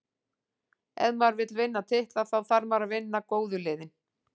Ef maður vill vinna titla, þá þarf maður að vinna góðu liðin.